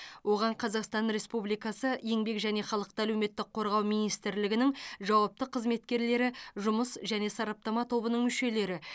оған қазақстан республикасы еңбек және халықты әлеуметтік қорғау министрлігінің жауапты қызметкерлері жұмыс және сараптама тобының мүшелері